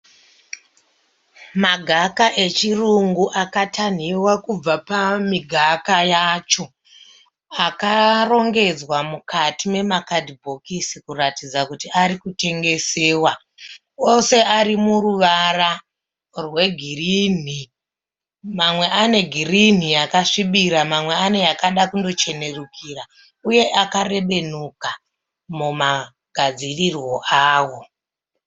Magaka echirungu akatanhiwa kubva pamigaga yacho. Akarongedzwa mukati memakadhibhokisi kuratidza kuti ari kutengesewa. Ose ari muruvara rwegirini. Mamwe ane girini yakasvibira mamwe ane yakada kundochenerukira uye akarebenuka mumagadzirirwe awo.